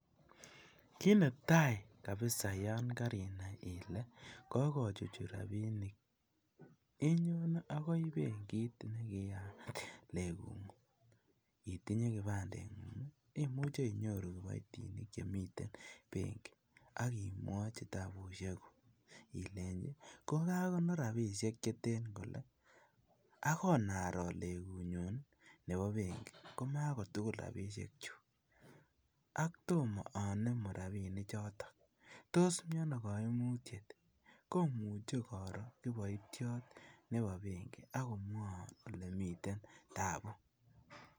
Kiiy netai kabisa yon karinai ile kakuchuchuch robinik. inyone akoi benkit ne kiyat neng'ung, itinye kibanding'ung. Imuche inyoru kiboitinik che miten benki akimwochi tabusiekuk ileji kakakonor rabisiek che ten kole, akonaro ale kunyon nebo benki ma kutugul robisiek chu, ak tomo anemu rabinichoto, tos miten ano kaimutiet, komuche koro kiboition nebo benki akumwoun ole miten taabu.